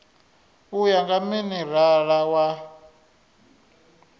u ya nga minerala u